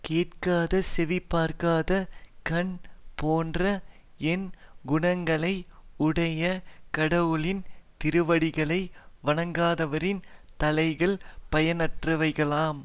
கேட்காதசெவி பார்க்காத கண் போன்ற எண் குணங்களை உடைய கடவுளின் திருவடிகளை வணங்காதவரின் தலைகள் பயனற்றவைகளாம்